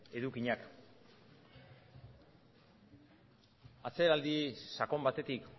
edukiak atzeraldi sakon batetik